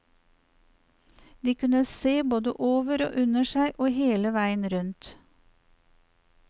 De kunne se både over og under seg og hele veien rundt.